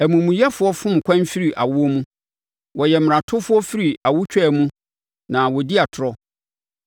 Amumuyɛfoɔ fom kwan firi awoɔ mu; wɔyɛ mmaratofoɔ firi awotwaa mu na wɔdi atorɔ.